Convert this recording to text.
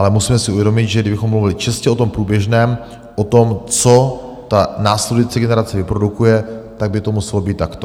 Ale musíme si uvědomit, že kdybychom mluvili čistě o tom průběžném, o tom, co ta následující generace vyprodukuje, tak by to muselo být takto.